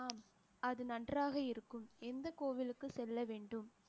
ஆம் அது நன்றாக இருக்கும் எந்த கோவிலுக்கு செல்ல வேண்டும்